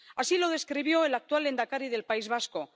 Así lo describió el actual lehendakari del País Vasco.